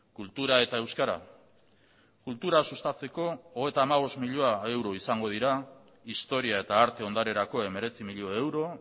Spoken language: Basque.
kultura eta euskara kultura sustatzeko hogeita hamabost milioi euro izango dira historia eta arte ondarerako hemeretzi milioi euro